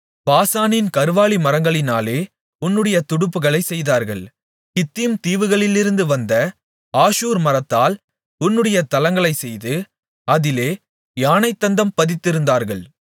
பாசானின் கர்வாலிமரங்களினாலே உன்னுடைய துடுப்புகளைச் செய்தார்கள் கித்தீம் தீவுகளிலிருந்து வந்த ஆஷூர் மரத்தால் உன்னுடைய தளங்களை செய்து அதிலே யானைத்தந்தம் பதித்திருந்தார்கள்